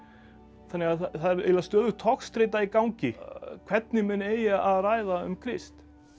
þannig að það er eiginlega stöðug togstreita í gangi hvernig menn eigi að ræða um Krist